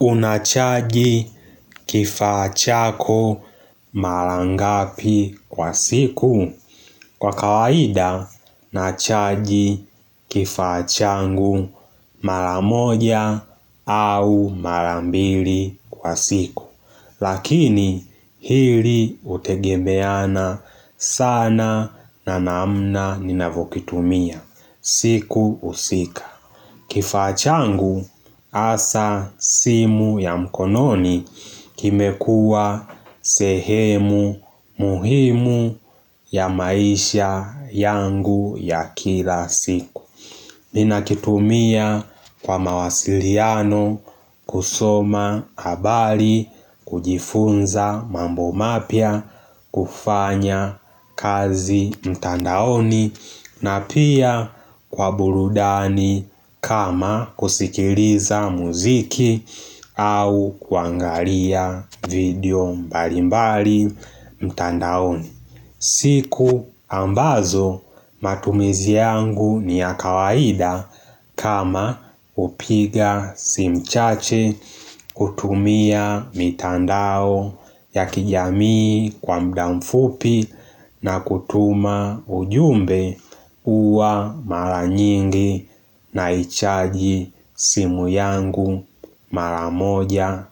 Unachaji kifaa chako marangapi kwa siku. Kwa kawaida nachaji kifaa changu maramoja au marambili kwa siku. Lakini hili utegemeana sana na namna ninavokitumia. Siku husika kifaa changu hasa simu ya mkononi kime kuwa sehemu muhimu ya maisha yangu ya kila siku. Ninakitumia kwa mawasiliano kusoma habari kujifunza mambo mapya kufanya kazi mtandaoni na pia kwa burudani kama kusikiliza muziki au kuangalia video mbali mbali mtandaoni. Siku ambazo matumizi yangu ni ya kawaida kama hupiga simu chache kutumia mitandao ya kijamii kwa muda mfupi na kutuma ujumbe uwa mara nyingi na ichaji simu yangu mara moja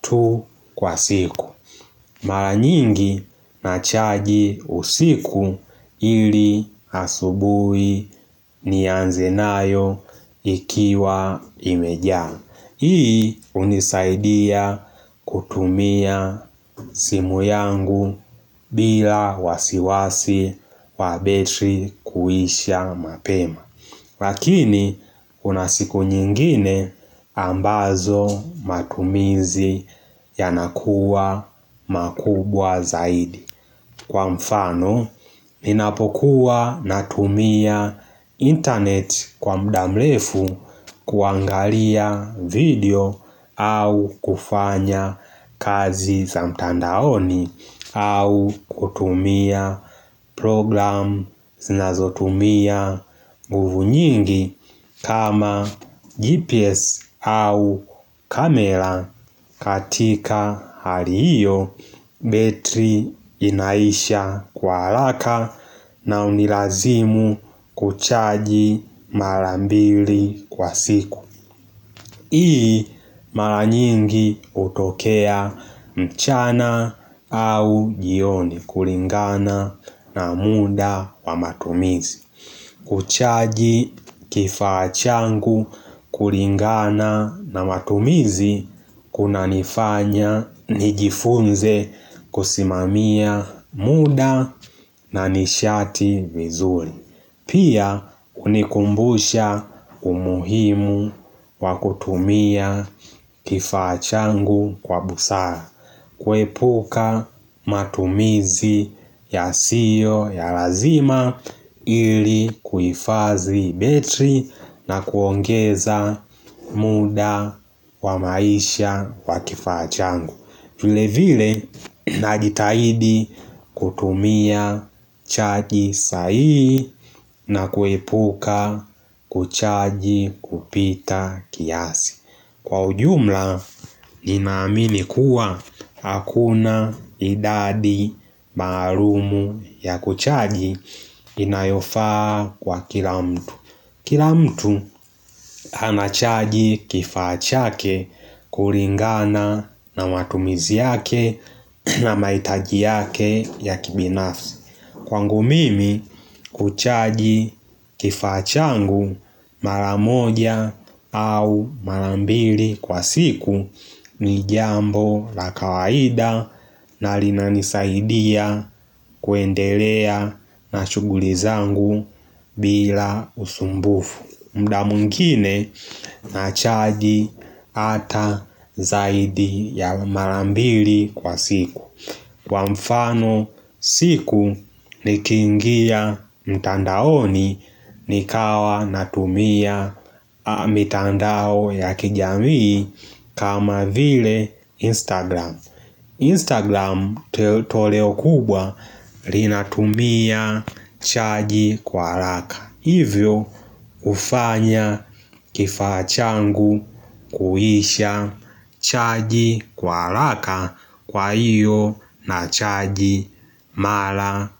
tu kwa siku. Mara nyingi nachaji usiku ili hasubui ni nianze nayo ikiwa imejaa. Hii unisaidia kutumia simu yangu bila wasiwasi wabetri kuisha mapema. Lakini, kuna siku nyingine ambazo matumizi ya nakuwa makubwa zaidi. Kwa mfano, ninapokuwa na tumia internet kwa muda mrefu kuangalia video au kufanya kazi za mtandaoni au kutumia program zinazotumia nguvu nyingi kama GPS au kamera katika hali hiyo. Betri inaisha kwa haraka na hunilazimu kuchaji marambili kwa siku hii maranyingi hutokea mchana au jioni kulingana na muda wa matumizi. Kuchaji kifaa changu kulingana na matumizi kuna nifanya nijifunze kusimamia muda na nishati vizuri. Pia kunikumbusha umuhimu wakutumia kifaa changu kwa busara. Kuepuka matumizi ya siyo ya lazima ili kuhifazi betri na kuongeza muda wa maisha wakifaa changu. Vile vile najitahidi kutumia chaji sahihi na kuepuka kuchaji kupita kiasi. Kwa ujumla ninaamini kuwa hakuna idadi maalumu ya kuchaji inayofaa kwa kila mtu. Kila mtu hana chaji kifaa chake kulingana na watumizi yake na mahitaji yake ya kibinafsi. Kwangu mimi kuchaji kifaa changu maramoja au marambili kwa siku ni jambo la kawaida na linanisaidia kuendelea na shughuli zangu bila usumbufu. Muda mwingine na chaji ata zaidi ya marambili kwa siku. Kwa mfano siku ni kingia mtandaoni ni kawa natumia mitandao ya kijamii kama vile Instagram Instagram toleo kubwa linatumia chaji kwa haraka. Hivyo hufanya kifaa changu kuisha chaji kwaharaka kwa iyo na chaji mara.